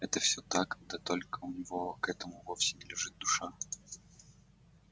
это всё так да только у него к этому вовсе не лежит душа